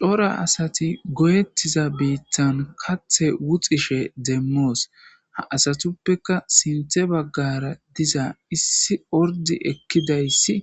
Cora asati goyettiza biitthan kathe wuxishe demmoosona. ha asatuppeka sinthe baggara diza issi ordi ekkidayssi